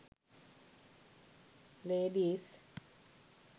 ladies